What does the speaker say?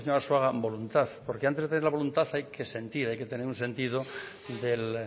decía al señor arzuaga voluntad porque antes de tener la voluntad hay que sentir hay que tener un sentido del